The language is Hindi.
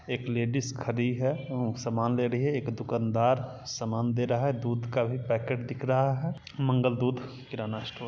एक लेडिज खड़ी है सामान ले रही है एक दुकानदार सामान दे रहा है दूध का भी पैकेट दिख रहा है मंगल दूध किराना स्टोर --